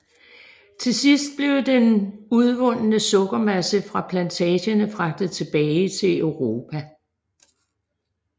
Til sidst blev den udvundne sukkermasse fra plantagerne fragtet tilbage til Europa